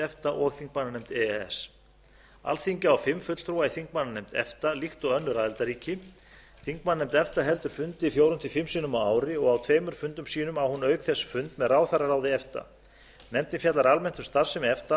efta og þingmannanefnd e e s alþingi á fimm fulltrúa í þingmannanefnd efta líkt og önnur aðildarríki þingmannanefnd efta heldur fundi fjórum til fimm sinnum á ári og á tveimur fundum sínum á hún auk þess fund með ráðherraráði efta nefndin fjallar almennt um starfsemi efta